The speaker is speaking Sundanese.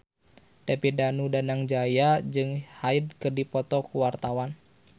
David Danu Danangjaya jeung Hyde keur dipoto ku wartawan